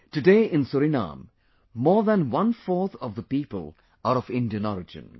Today in Suriname more than one fourth of the people are of Indian origin